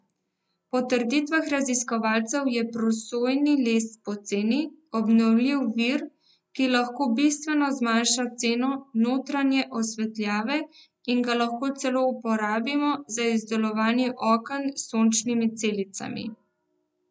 Po trditvah raziskovalcev je prosojni les poceni, obnovljiv vir, ki lahko bistveno zmanjša ceno notranje osvetljave in ga lahko celo uporabimo za izdelovanje oken s sončnimi celicami.